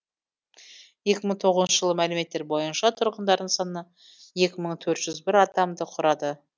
екі мың тоғызыншы жылғы мәліметтер бойынша тұрғындарының саны екі мың төрт жүз бір адамды құрады